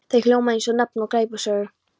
Það hljómar eins og nafn á glæpasögu.